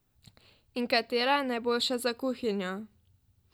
In katera je najboljša za kuhinjo?